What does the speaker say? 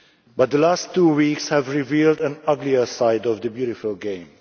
But the last two weeks have revealed an uglier side of the beautiful game.